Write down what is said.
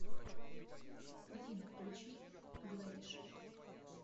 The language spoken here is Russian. афина включи глэдиш